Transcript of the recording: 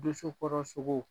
Doso kɔrɔ sogo.